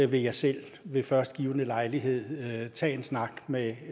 vil jeg selv ved først givne lejlighed tage en snak med